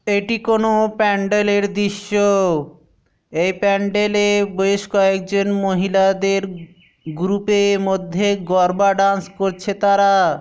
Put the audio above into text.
এটি কোন প্যান্ডেল এর দৃশ্য-ও এই প্যান্ডেল এ বেশ কয়েকজন মহিলাদের গ্রুপ এ মধ্যে গরবা ডান্স করছে তারা।